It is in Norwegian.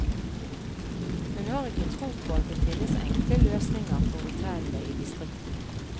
Hun har ikke tro på at det finnes enkle løsninger for hotellene i distriktene.